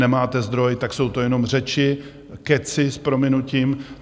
Nemáte zdroj, tak jsou to jenom řeči, kecy s prominutím.